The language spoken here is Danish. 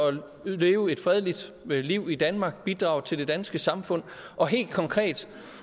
leve et fredeligt liv i danmark bidrage til det danske samfund og helt konkret